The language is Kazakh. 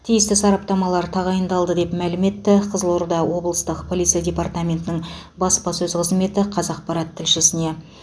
тиісті сараптамалар тағайындалды деп мәлім етті қызылорда облыстық полиция департаментінің баспасөз қызметі қазақпарат тілшісіне